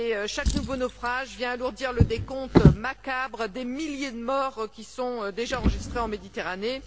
Chaque nouveau naufrage vient alourdir le décompte macabre des milliers de morts qui sont déjà enregistrés en Méditerranée.